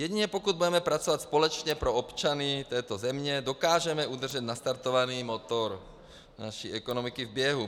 Jedině pokud budeme pracovat společně pro občany této země, dokážeme udržet nastartovaný motor naší ekonomiky v běhu.